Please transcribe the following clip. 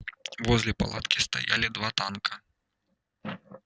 возле палатки стояли два танка